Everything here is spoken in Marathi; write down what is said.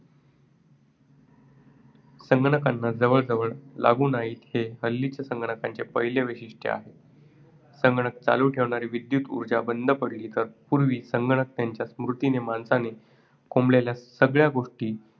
संगणकांना जवळजवळ लागू नाहीत हे हल्लीच्या संगणकांचे पहिले वैशिष्ट्य आहे. संगणक चालू ठेवणारी विद्युत ऊर्जा बंद पडली तर पूर्वी संगणक त्यांच्या स्मॄतीत माणसाने कोंबलेल्या सगळ्या गोष्टी